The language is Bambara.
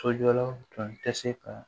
Sojɔlaw tun tɛ se ka